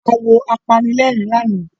A wo apanilẹ́rìn lánàá